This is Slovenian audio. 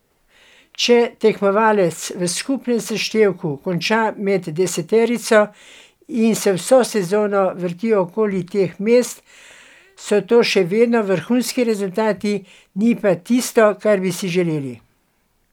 Če tekmovalec v skupnem seštevku konča med deseterico in se vso sezono vrti okoli teh mest, so to še vedno vrhunski rezultati, ni pa tisto, kar bi si želeli.